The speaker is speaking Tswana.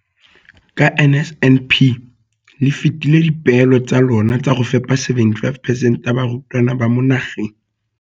Ka NSNP le fetile dipeelo tsa lona tsa go fepa 75 percent ya barutwana ba mo nageng.